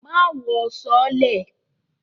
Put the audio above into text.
Má wọ sọọ́lẹ̀!